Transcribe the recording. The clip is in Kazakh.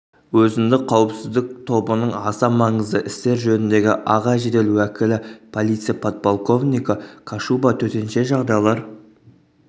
өзіндік қауіпсіздік тобының аса маңызды істер жөніндегі аға жедел уәкілі полиция подполковнигі кашуба төтенше жағдайлар